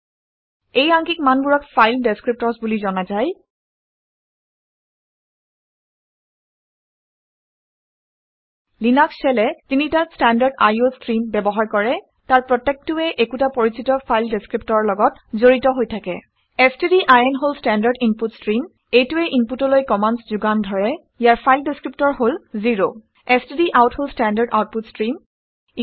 এই আংকিক মানবোৰক ফাইল ডেচক্ৰিপটৰ্ছ বুলি জনা যায় লিনাক্স শ্বেলে তিনিটা ষ্টেনৰ্ডাড iঅ ষ্ট্ৰিম ব্যৱহাৰ কৰে। তাৰ প্ৰত্যেকটোৱেই একোটা পৰিচিত ফাইল দেচক্ৰিপটৰৰ লগত জড়িত হৈ থাকে ষ্টডিন ষ্টেণ্ডাৰ্ড ইনপুট ষ্ট্ৰিম। এইটোৱে ইনপুটলৈ কামাণ্ডচ্ ঘোগান ধৰে ইয়াৰ ফাইল ডেচক্ৰিপটৰ হল 0 ষ্টডাউট ষ্টেণ্ডাৰ্ড আউটপুট ষ্ট্ৰিম